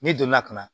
Ne donna ka na